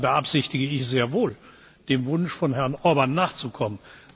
Deshalb beabsichtige ich sehr wohl, dem Wunsch von Herrn Orbán nachzukommen.